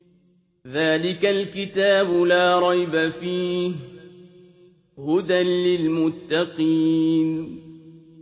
ذَٰلِكَ الْكِتَابُ لَا رَيْبَ ۛ فِيهِ ۛ هُدًى لِّلْمُتَّقِينَ